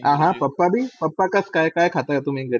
आह Papa बी? काय खाता तुम्ही घरी?